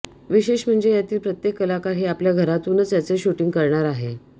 विशेष म्हणजे यातील प्रत्येक कलाकार हे आपल्या घरातूनच याचे शूटिंग करणार आहे